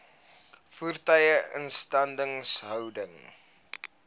voertuie instandhouding